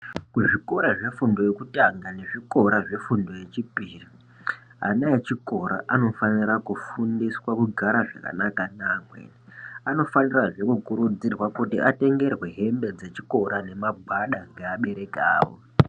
Kuzvikora zvefundo yekutanga nezvikora zvefundo yechipiri, ana echikora anofanira kugara kufundiswa kugara zvakanaka neamweni. Anofanirazve kukurudzirwa kuti atengerwe hembe dzechikora nemagwada ngeabereki avo.